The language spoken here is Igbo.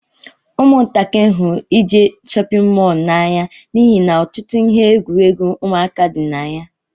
Umuntakiri hụrụ ije n'shóppin mol na-anya n'ihi na ọtụtụ ihe egwuruegwu ụmụaka dị na ya.